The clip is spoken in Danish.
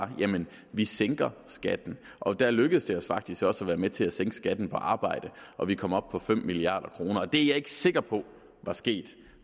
vi sænker skatten og der lykkedes det os faktisk også at være med til at sænke skatten på arbejde og vi kom op på fem milliard kroner det er jeg ikke sikker på var sket